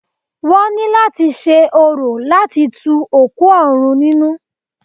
Wọ́n ní láti ṣe orò láti tu òkú òrun nínú.